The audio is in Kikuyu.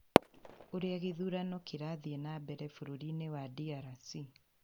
ũrĩa gĩthurano kĩrathi na mbere bũrũrinĩ wa DRC